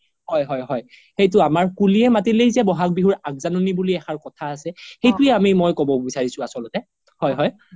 হয় হয় হয় সেইটো আমাৰ কুলিয়ে মাতিলেই যে বহাগ বিহুৰ আগজানি বুলি এক আখাৰ কথা আছে সেইটোয়ে আমি মই ক্'ব বিচাৰিছো আচ্ল্তে হয় হয়